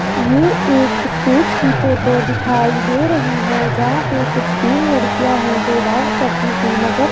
ये एक स्टेज की फोटो दिखाई दे रही है जहां पे कुछ तीन लड़कियां है जो डांस करती हुई नजर --